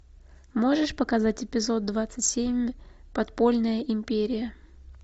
можешь показать эпизод двадцать семь подпольная империя